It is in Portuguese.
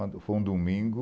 Quando foi um domingo.